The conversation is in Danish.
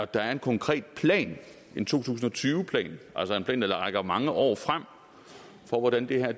der er en konkret plan en to tusind og tyve plan altså en plan der rækker mange år frem for hvordan det her